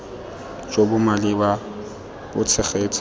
jo bo maleba bo tshegetsa